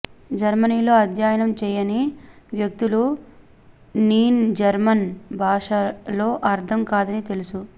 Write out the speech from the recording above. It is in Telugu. జర్మనీలో అధ్యయనం చేయని వ్యక్తులు నీన్ జర్మన్ భాషలో అర్థం కాదని తెలుసు